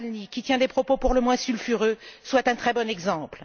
Navalny, qui tient des propos pour le moins sulfureux, soit un très bon exemple.